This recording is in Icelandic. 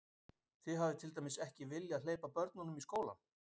Þið hafið til dæmis ekki viljað hleypa börnunum í skólann?